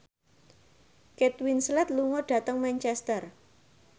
Kate Winslet lunga dhateng Manchester